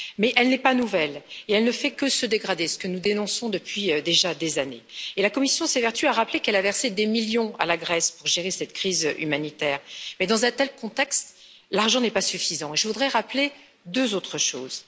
Mais elle n'est pas nouvelle et elle ne fait que se dégrader, ce que nous dénonçons depuis déjà des années. Et la Commission s'évertue à rappeler qu'elle a versé des millions à la Grèce pour gérer cette crise humanitaire, mais dans un tel contexte, l'argent n'est pas suffisant et je voudrais rappeler deux autres choses.